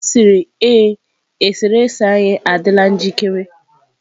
Ọ sịrị ee, eserese anyị adịla njikere.